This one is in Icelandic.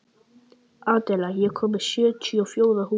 Adela, ég kom með sjötíu og fjórar húfur!